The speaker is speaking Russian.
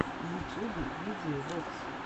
в ютьюбе видия вокс